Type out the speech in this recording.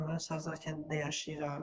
Adamlar Sarzax kəndində yaşayıram.